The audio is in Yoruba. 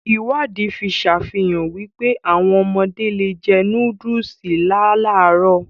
Ìwádìí fi sàfihàn wípé, áwọn ọmọdé le è jẹ nóódùsì láàlárọ̀